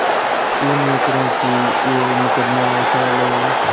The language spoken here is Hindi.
विनय करुँ कि यह मुकदमा उठा लो